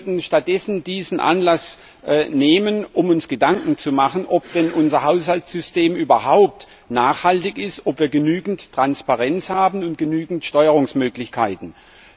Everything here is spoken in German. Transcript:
Wir sollten stattdessen dies zum Anlass nehmen, um uns Gedanken zu machen, ob denn unser Haushaltssystem überhaupt nachhaltig ist, ob wir genügend Transparenz und genügend Steuerungsmöglichkeiten haben.